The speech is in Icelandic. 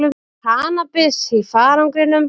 Með kannabis í farangrinum